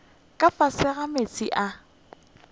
ka fase ga meetse a